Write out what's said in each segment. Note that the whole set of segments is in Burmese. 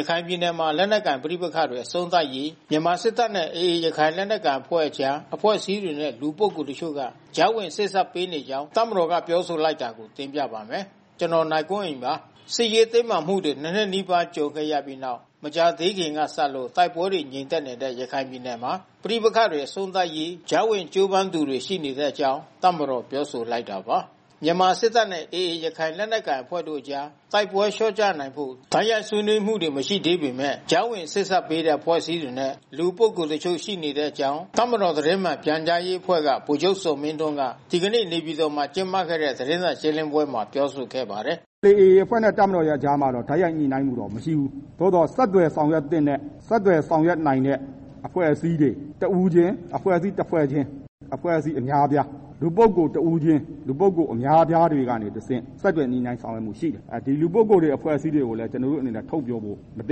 ရခိုင်ပြည်နယ်မှာ လက်နက်ကိုင် ပဋိပက္ခတွေ အဆုံးသတ်ရေး မြန်မာစစ်တပ်နဲ့ AA ရခိုင်လက်နက်ကိုင်အဖွဲ့အကြား အဖွဲ့အစည်းတွေနဲ့ လူပုဂ္ဂိုလ်တချို့က ကြားဝင်စေ့စပ်ပေးနေကြောင်း တပ်မတော်က ပြောဆိုလိုက်တာကို ဗွီအိုအေမြန်မာပိုင်း သတင်းထောက် ကိုနိုင်ကွန်းအိန်က တင်ပြပေးပါမယ်။ စစ်ရေးတင်းမာမှုတွေ ၂ နှစ်နီးပါး ကြုံခဲ့ရပြီးနောက် မကြာသေးခင်ကစလို့ တိုက်ပွဲတွေငြိမ်သက်နေတဲ့ ရခိုင်ပြည်နယ်မှာ ပဋိပက္ခတွေ အဆုံးသတ်ရေး ကြားဝင်ကြိုးပမ်းသူတွေ ရှိနေတဲ့အကြောင်း တပ်မတော်က ပြောဆိုလိုက်တာပါ။ မြန်မာစစ်တပ်နဲ့ AA ရခိုင်လက်နက်ကိုင်အဖွဲ့တို့အကြား တိုက်ပွဲလျော့ကျနိုင်ဖို့ တိုက်ရိုက်ဆွေးနွေးမှုတွေ မရှိသေးပေမဲ့ ကြားဝင်စေ့စပ်ပေးနေတဲ့ အဖွဲ့အစည်းတွေနဲ့ လူပုဂ္ဂိုလ်တချို့ရှိနေတဲ့အကြောင်း တပ်မတော်သတင်းမှန် ပြန်ကြားရေးအဖွဲ့က ဗိုလ်ချုပ်ဇော်မင်းထွန်းက ဒီကနေ့ နေပြည်တော်မှာ ကျင်းပတဲ့သတင်းစာရှင်းလင်းပွဲမှာ ပြောဆိုခဲ့ပါတယ်။ “AA အဖွဲ့နဲ့ တပ်မတော်ကြားမှာတော့ တိုက်ရိုက်ညှိနှိုင်းမှုတော့ မရှိဘူး။ သို့သော်ဆက်သွယ်ဆောင်ရွက်သင့်တဲ့ ဆက်သွယ်ဆောင်ရွက်နိုင်တဲ့ အဖွဲ့အစည်းတွေ တဦးချင်း၊ အဖွဲ့အစည်းတဖွဲ့ချင်း၊ အဖွဲ့အစည်းအများအပြား၊ လူပုဂ္ဂိုလ်တဦးချင်း၊ လူပုဂ္ဂိုလ်အများအပြားတွေကနေတဆင့် ဆက်သွယ်ညှိနှိုင်းဆောင်ရွက်နေလျက်ရှိတယ်။ ဒီလူပုဂ္ဂိုလ်တွေ အဖွဲ့အစည်းတွေကိုလည်း ကျနော်တို့အနေနဲ့ ထုတ်ပြောဖို့မသ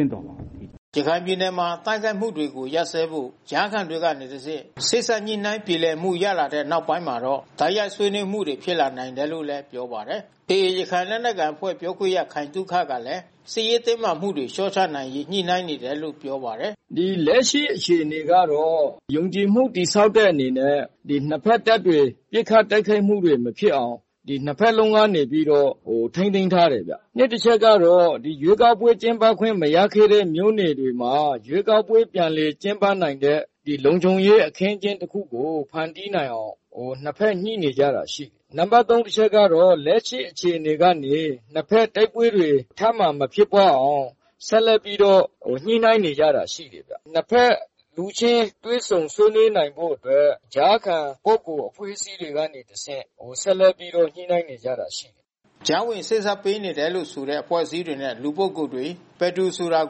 င့်တော်ပါဘူး။” ရခိုင်ပြည်နယ်မှာ တိုက်ခိုက်မှုတွေကို ရပ်စဲဖို့ ကြားခံတွေကတဆင့် စေ့စပ်ညှိနှိုင်းပြေလည်မှုရလာတဲ့ နောက်ပိုင်းမှာတော့ တိုက်ရိုက်ဆွေးနွေးမှုတွေ ဖြစ်လာနိုင်တယ်လို့လည်း ပြောပါတယ်။ AA ရခိုင်လက်နက်ကိုင်အဖွဲ့ ပြောခွင့်ရခိုင်သုခကလည်း စစ်ရေးတင်းမာမှုတွေ လျှော့ချနိုင်ရေး ညှိနှိုင်းနေတယ်လိ့ု ပြောပါတယ်။ “လက်ရှိအခြေအနေကတော့ ယုံကြည်မှု တည်ဆောက်တဲ့အနေနဲ့ နှစ်ဘက်တပ်တွေ ပစ်ခတ်တိုက်ခိုက်မှုတွေ မဖြစ်အောင် နှစ်ဘက်လုံးကနေပြီးတော့ ထိန်းသိမ်းထားတယ်ဗျ။ နှစ်အချက်ကတော့ ရွေးကောက်ပွဲ ကျင်းပခွင့်မရခဲ့တဲ့ မြို့နယ်တွေမှာ ရွေးကောက်ပွဲပြန်လည်ကျင်းပနိုင်တဲ့ လုံခြုံရေးအခင်းအကျင်းတခုကို ဖန်တီးနိုင်အောင် နှစ်ဘက်ညှိနေကြတာရှိတယ်။ နံပါတ် ၃ အချက်ကတော့ လက်ရှိအခြေအနေကနေ နှစ်ဘက်တပ်ဖွဲ့တွေ တိုက်ပွဲ ထပ်မံမဖြစ်ပွါးအောင် ဆက်လက်ပြီးတော့ညှိနှိုင်းနေတာရှိတယ်။ နှစ်ဘက်လူချင်းတွေ့ဆုံဆွေးနွေးနိုင်ဖို့အတွက် ကြားခံလူပုဂ္ဂိုလ်အဖွဲ့အစည်းတွေကနေ တဆင့် ဆက်လက်ပြီးတော့ညှိနှိုင်းနေကြတာ ရှိတယ်။” ကြားဝင်စေ့စပ်ပေးနေတယ်လို့ဆိုတဲ့ အဖွဲ့အစည်းတွေနဲ့ လူပုဂ္ဂိုလ်တွေ ဘယ်သူဆိုတာ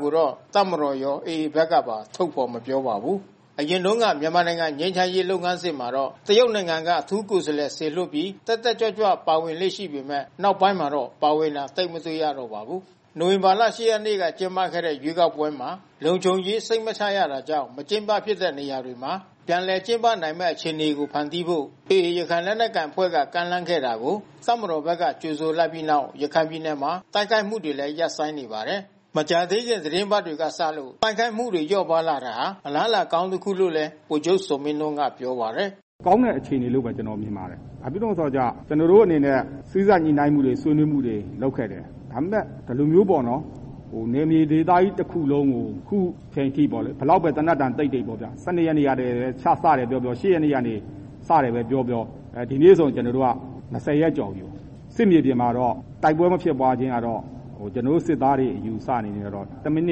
ကိုတော့ တပ်မတော်ရော၊ AA ဘက်ကပါ ထုတ်ဖော်မပြောပါဘူး။ အရင်တုန်းက မြန်မာနိုင်ငံ ငြိမ်းချမ်းရေးလုပ်ငန်းစဉ်မှာတော့ တရုတ်နိုင်ငံက အထူးကိုယ်စားလှယ် စေလွှတ်ပြီး တက်တက်ကြွကြွ ပါဝင်လေ့ ရှိပေမဲ့ နောက်ပိုင်းမှာတော့ ပါဝင်တာ သိပ်မတွေ့ရတော့ပါဘူး။ နိုဝင်ဘာလ ၈ ရက်နေ့က ကျင်းပခဲ့တဲ့ ရွေးကောက်ပွဲမှာ လုံခြုံရေး စိတ်မချရတာကြောင့် မကျင်းပဖြစ်တဲ့နေရာတွေမှာ ပြန်ကျင်းပနိုင်မယ့် အခြေအနေတွေ ဖန်တီးဖို့ AA ရခိုင်လက်နက်ကိုင်အဖွဲ့က ကမ်းလှမ်းခဲ့တာကို တပ်မတော်က ကြိုဆိုလိုက်ပြီးနောက် ရခိုင်ပြည်နယ်မှာ တိုက်ခိုက်မှုတွေလည်း ရပ်ဆိုင်းနေပါတယ်။ မကြာသေးခင် သီတင်းပတ်တွေကစလို့ တိုက်ခိုက်မှုတွေ လျော့ပါးသွားတာဟာ အလားအလာကောင်းတခုလို့လည်း ဗိုလ်ချုပ်ဇော်မင်းထွန်းကပြောပါတယ်။ “ကျနော်မြင်တာကတော့ ကောင်းတဲ့ အခြေအနေလို့ပဲ မြင်ပါတယ်။ ဘာဖြစ်လို့လဲကျ ကျနော်တို့အနေနဲ့ စေ့စပ်ညှိနှိုင်းမှုတွေ ဆွေးနွေးမှုတွေ လုပ်ခဲ့တယ်။ ဒါပေမဲ့ ဒီလိုမျိုးပေါ့ နယ်မြေဒေသကြီးတစ်ခုလုံးကို အခုအချိန်အထိပေါ့ ဘယ်လောက်ပဲ သေနတ်သံတိတ်နေ ၁၂ ရက်နေ့က စတယ်ပဲ ပြောပြော၊ ၈ ရက်နေ့က စတယ်ပဲပြောပြော ဒီနေ့ဆိုရင် ၂၀ ရက်ကျော်ပြီပေါ့။ စစ်မြေပြင်မှာတော့ တိုက်ပွဲ မဖြစ်ပွားခြင်းကတော့ ကျနော်တို့ စစ်သားတွေအယူအဆကတော့ တစ်မိန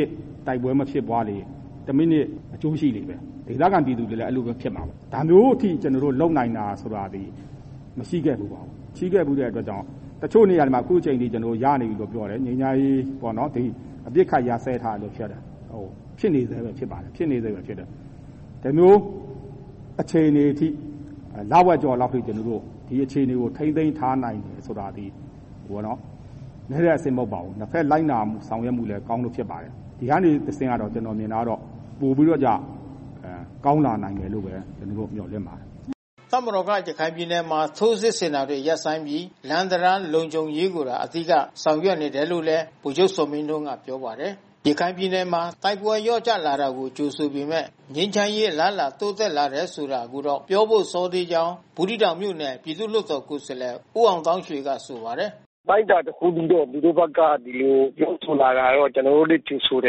စ် တိုက်ပွဲမဖြစ်ပွားလေ တစ်မိနစ်အကျိုးရှိလေပဲ။ ဒေသခံ ပြည်သူတွေလည်း အဲဒီလိုပဲဖြစ်မှာပါ။ ဒါမျိုးကို ကျနော်တို့ လုပ်နိုင်တာဆိုတာသည် မရှိခဲ့ဖူးဘူး။ မရှိခဲ့ဖူးတဲ့အတွက်ကြောင့် တချို့နေရာတွေ ငြိမ်းချမ်းရေး ရနေပြီပြောတယ်။ အပစ်အခတ် ရပ်စဲထားတယ်ပြောတယ်။ ဖြစ်နေဆဲပါပဲ။ ဒီလိုအခြေအနေထိ လဝက်ကျော်လောက်အထိ ထိန်းသိမ်းထားနိုင်တယ်ဆိုတာ နည်းတဲ့ အဆင့်မဟုတ်ပါဘူး။ နှစ်ဘက်လိုက်နာဆောင်ရွက်မှုကောင်းလို့ ဖြစ်ပါတယ်။ ဒီကနေတဆင့်ကျတော့ ပိုပြီးတော့ ကောင်းလာမယ်လို့ ကျနော်တို့ မျှော်လင့်ပါတယ်။" တပ်မတော်က ရခိုင်ပြည်နယ်မှာ ထိုးစစ်ဆင်တာတွေ ရပ်ဆိုင်းထားပြီး၊ လမ်း၊ တံတား လုံခြုံရေးကိုသာ အဓိက ဆောင်ရွက်နေတယ်လု့ိလည်း ဗိုလ်ချုပ်ဇော်မင်းထွန်း ကပြောပါတယ်။ ရခိုင်ပြည်နယ်မှာ တိုက်ပွဲလျော့ကျလာတာကိုကြိုဆိုပေမဲ့ ငြိမ်းချမ်းရေးအလားအလာ တိုးတက်လာတယ်ဆိုတာ ကိုတော့ပြောဖို့ စောသေးကြောင်း ဘူးသီးတောင်မြို့နယ် ပြည်သူ့လွှတ်တော် ကိုယ်စားလှယ် ဦးအောင်သောင်းရွှေက ဆိုပါတယ်။ “အတိုင်းအတာ တခုအထိတော့ သူတို့ဘက်က ဒီလိုပြောဆိုလာတာတော့ ကျနော်တို့လည်း ကြိုဆိုတ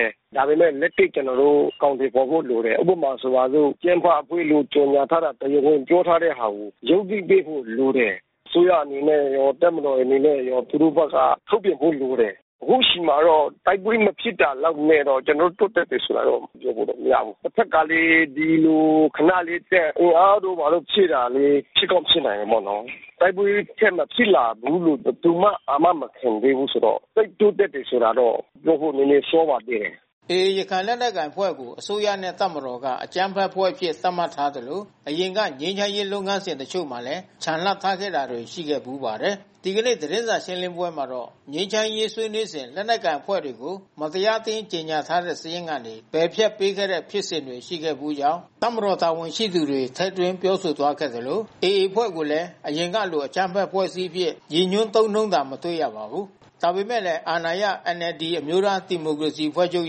ယ်။ ဒါပေမဲ့ လက်တွေ့ အကောင်အထည်ဖေါ်ဖို့ လိုတယ်။ ဥပမာဆိုပါစို့ အကြမ်းဖက်အဖွဲ့လို့ ကြေညာထားတဲ့ တရားဝင်ပြောထားတဲ့ဟာကို ရုပ်သိမ်းပေးဖို့ လိုတယ်။ အစိုးရအနေနဲ့ရော တပ်မတော်အနေနဲ့ရောသူတို့ဘက်က ထုတ်ပြန်ဖို့လိုတယ်။ အခုချိန်မှာတော့ တိုက်ပွဲမဖြစ်တာလောက်နဲ့တော့ ကျနော်တို့ တိုးတက်တယ်ဆိုတာတော့ပြောလို့မရဘူး။ တဘက်ကလည်း ဒီလိုတပ်အင်အားတို့ ဖြည့်တာလေး ဖြစ်ကောင်းဖြစ်နိုင်တာပေါ့နော်။ တိုက်ပွဲထပ်မဖြစ်လာဘူးလို့ ဘယ်သူမှ အာမခံမပေးဘူးဆိုတော့ သိပ်တိုးတက်တယ်ဆိုတာတော့ပြောဖို့ နည်းနည်း စောပါသေးတယ်။” AA ရခိုင်လက်နက်ကိုင်အဖွဲ့ကို အစိုးရနဲ့ တပ်မတော်က အကြမ်းဖက်အဖွဲ့အဖြစ် သတ်မှတ်ထားသလို အရင်က ငြိမ်းချမ်းရေး လုပ်ငန်းစဉ် တချို့မှာလည်း ချန်လှပ်ထားခဲ့တာတွေ ရှိခဲ့ဘူးပါတယ်။ ဒီကနေ့ သတင်းစာရှင်းလင်းပွဲမှာတော့ ငြိမ်းချမ်းရေးဆွေးနွေးစဉ် လက်နက်ကိုင်အဖွဲ့တွေကို မတရားအသင်းကြေညာထားတဲ့ စာရင်းကနေ ပယ်ဖျက်ပေးခဲ့တဲ့ ဖြစ်စဉ်တွေ ရှိခဲ့ဘူးကြောင်း တပ်မတော် တာဝန်ရှိသူတွေ ထည့်သွင်းပြောဆိုသွားခဲ့သလို AA အဖွဲ့ကိုလည်း အရင်ကလို အကြမ်းဖက် အဖွဲ့အစည်းအဖြစ် ရည်ညွှန်းသုံးနှုန်းတာ မတွေ့ရပါဘူး။ ဒါပေမဲ့လည်း အာဏာရ NLD အမျိုးသား ဒီမိုကရေစီအဖွဲ့ချုပ်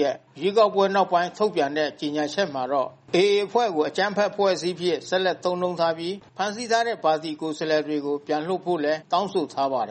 ရဲ့ ရွေးကောက်ပွဲနောက်ပိုင်း ထုတ်ပြန်တဲ့ ကြေညာချက်မှာတော့ AA အဖွဲ့ကို အကြမ်းဖက်အဖွဲ့အစည်းအဖြစ် ဆက်လက်သုံးနှုန်းထားပြီး ဖမ်းဆီးထားတဲ့ ပါတီကိုယ်စားလှယ်တွေကို ပြန်လွှတ်ဖို့လည်း တောင်းဆိုထားပါတယ်